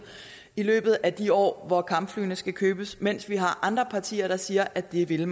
i løbet af de år hvor kampflyene skal købes mens vi har andre partier der siger at det vil